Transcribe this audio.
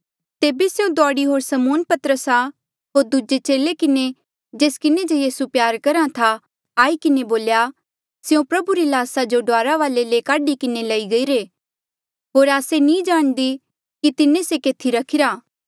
तेबे स्यों दौड़ी होर समौन पतरसा होर दूजे चेले किन्हें जेस किन्हें जे यीसू प्यार करहा था आई किन्हें बोल्या स्यों प्रभु री ल्हासा जो डुआरा वाले ले काढी किन्हें लई गईरे होर आस्से नी जाणदी कि तिन्हें से केथी रखिरा